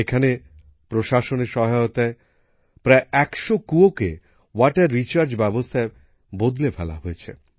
এখানে প্রশাসনের সহায়তায় প্রায় একশো কূয়োকে ওয়াটার রিচার্জ ব্যবস্থায় বদলে ফেলা হয়েছে